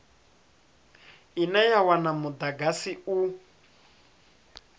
ine ya wana mudagasi u